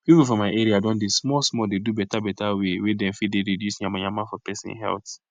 people for my area don dey small small dey do beta beta way wey dem fit dey reduce yamayama for pesin health